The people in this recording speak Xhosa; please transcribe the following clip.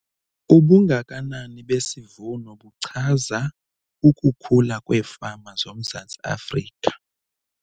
Ubungakanani besivuno buchaza ukukhula kweefama zoMzantsi Afrika.